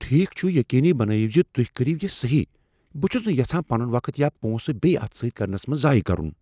ٹھیک چھ، یقینی بنٲیِو زِ تُہۍ کٔرِیو یِہ صحیح۔ بہٕ چھس نہٕ یژھان پنن وقت یا پونسہٕ بییہٕ اتھ سۭتۍ کرنس منٛز ضایِہ کرن۔